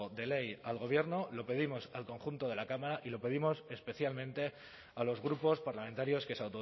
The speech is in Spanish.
de ley al gobierno lo pedimos al conjunto de la cámara y lo pedimos especialmente a los grupos parlamentarios que se